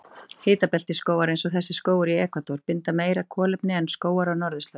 Hitabeltisskógar, eins og þessi skógur í Ekvador, binda meira kolefni en skógar á norðurslóðum.